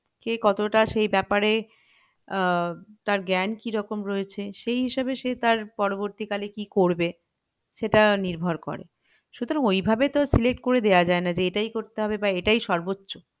সে কতটা এই বেপারে আহ তার জ্ঞান কি রকম রয়েছে সেই হিসাবে সে তার পরবর্তীকালে কি করবে সেটা নির্ভর করে সুতরাং ওইভাবে তো select করা দেওয়া যায়না যে এটাই করতে হবে যে এটাই সর্বোচ্চ